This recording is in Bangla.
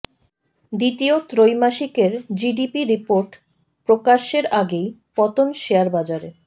দ্বিতীয় ত্রৈমাসিকের জিডিপি রিপোর্ট প্রকাশের আগেই পতন শেয়ার বাজারে